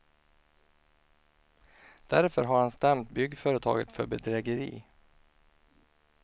Därför har han stämt byggföretaget för bedrägeri.